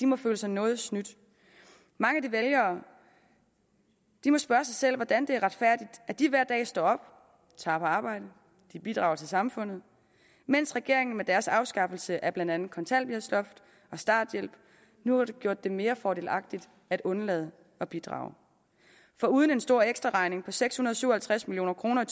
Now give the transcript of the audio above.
må føle sig noget snydt mange af de vælgere må spørge sig selv hvordan det retfærdigt at de hver dag står op tager på arbejde bidrager til samfundet mens regeringen med dens afskaffelse af blandt andet kontanthjælpsloft og starthjælp nu har gjort det mere fordelagtigt at undlade at bidrage foruden en stor ekstraregning på seks hundrede og syv og halvtreds million kroner